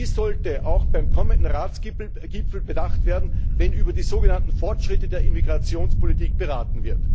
Dies sollte auch beim kommenden Ratsgipfel bedacht werden, wenn über die sogenannten Fortschritte der Immigrationspolitik beraten wird.